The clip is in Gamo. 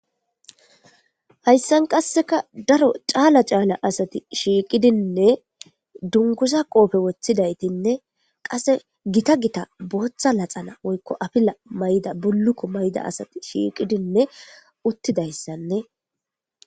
hayssan qasseka daro caala caala asati shiiqidinne dungusa qoofe woththidaytinne qasse gita gita booththa laxana woykko afila mayda bulukko mayda asati shiiqidinne uttidayssanne